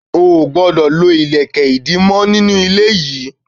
Ò gbọdọ̀ lo ilẹ̀kè ìdí mọ nínú ilé yìí.